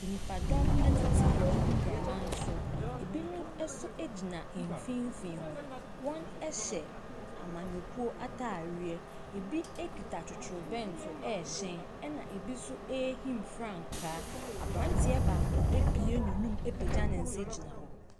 Nnipadɔm tete agoprama so, binom nso gyina mfimfin hɔ. Wɔhyɛ amanyɔkuo ataadeɛ, bi kita totorobɛnto ɛrehyɛn na bi nso ɛrehim frankaa. Aberanteɛ baako abue n’anum apagya ne nsa gyina hɔ.